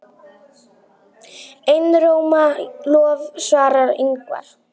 Einróma lof svarar Ingvar.